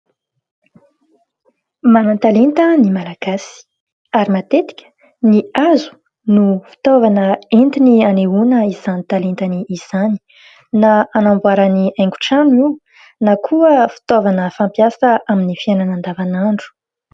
Manan-talenta ny malagasy ary matetika ny hazo no fitaovana entiny hanehoana izany talentany izany na hanamboarany haingon-trano io na koa fitaovana fampiasa amin'ny fiainana andavanandro.